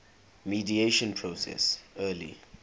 mediation process early